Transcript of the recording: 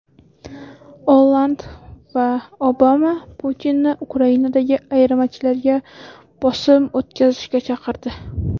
Olland va Obama Putinni Ukrainadagi ayirmachilarga bosim o‘tkazishga chaqirdi.